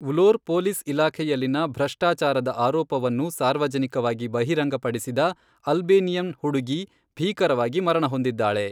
ವ್ಲೋರ್ police ಇಲಾಖೆಯಲ್ಲಿನ ಭ್ರಷ್ಟಾಚಾರದ ಆರೋಪವನ್ನು ಸಾರ್ವಜನಿಕವಾಗಿ ಬಹಿರಂಗಪಡಿಸಿದ ಅಲ್ಬೇನಿಯನ್ ಹುಡುಗಿ ಭೀಕರವಾಗಿ ಮರಣಹೊಂದಿದ್ದಾಳೆ.